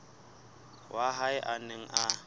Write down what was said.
wa hae a neng a